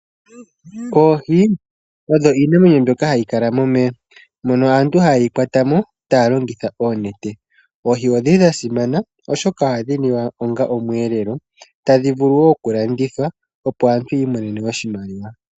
Oohi odho iinamwenyo mbyoka hayi kala momeya ,mono aantu haye ye kwata mo taa longitha oonete. Oohi odhili dha simana oshoka ohadhi liwa onga omweelelo, tadhi vulu wo okulandithwa opo aantu yi imonene oshimaliwa.